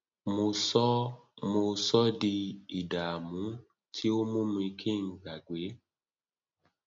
mo sọ ọ mo sọ ọ di ìdààmú tí ó mú kí n gbàgbé